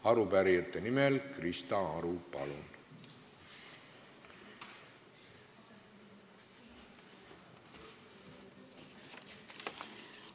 Arupärijate nimel Krista Aru, palun!